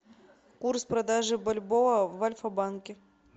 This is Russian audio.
курс продажи бальбоа в альфа банке